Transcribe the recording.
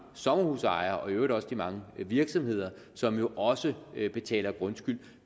sommerhusejere og i øvrigt også de mange virksomheder som jo også betaler grundskyld